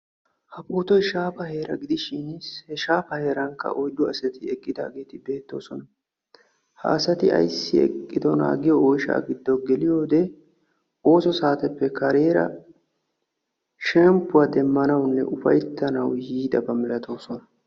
Has boottay shaafa heera gidishin shaafa heerankka oyddu asati eqqidaageti beettoosona. ha asati ayssi eqqidoonaa giyoo oyshshaa giddo geliyoo wode oosso saateppe kareera shemppuwaa demmanawunne ufayttanawu yiidaba malatoosona.